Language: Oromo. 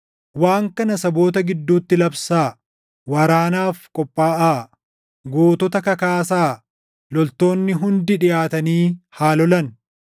Waan kana saboota gidduutti labsaa: Waraanaaf qophaaʼaa! Gootota kakaasaa! Loltoonni hundi dhiʼaatanii haa lolan.